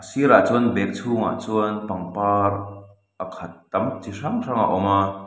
a sirah chuan bag chhungah chuan pangpar a khat tam chi hrang hrang a awm a.